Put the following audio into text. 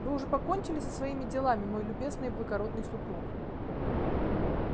вы уже покончили со своими делами мой любезный и благородный супруг